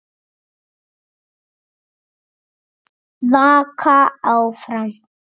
Afi og amma kveðja